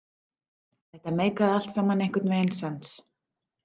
Þetta meikaði allt saman einhvern veginn sens.